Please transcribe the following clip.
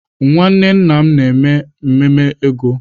Nwanne nna m na-eme ememe ego.